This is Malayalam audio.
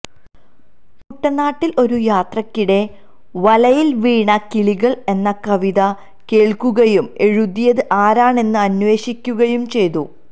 കുട്ടനാട്ടിൽ ഒരു യാത്രയ്ക്കിടെ വലയിൽ വീണ കിളികൾ എന്ന കവിത കേൾക്കുകയും എഴുതിയത് ആരാണെന്ന് അന്വേഷിക്കുകയും ചെയ്തു